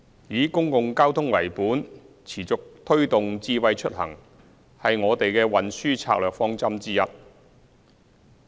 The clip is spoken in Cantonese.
以公共交通為本，持續推動智慧出行是我們的運輸策略方針之一。